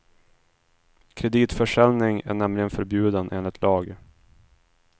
Kreditförsäljning är nämligen förbjuden enligt lag.